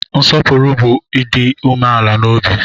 Nsopuru bu Ịdị umeala n'obi